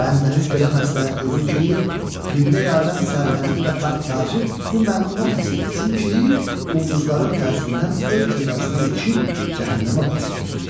Bəndəniz belə məsləhət görür ki, qibləi aləm səltənəti və taxt-tacını bu məluna təslim etsin ki, quldurların təsirindən öz cəzasına yetişib cəhənnəmə vasil olsun.